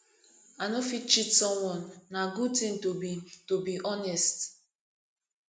i no fit cheat someone na good ting to be to be honest